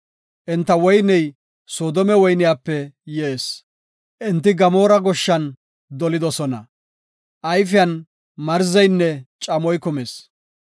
Enta woyney Soodome woyniyape yees, enti Gamoora goshshan dolidosona; ayfiyan marzeynne camoy kumis.